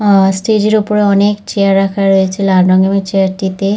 আহ stage এর ওপরে অনেক চেয়ার রাখা রয়েছে। লাল রঙের ওই চেয়ার টিতে--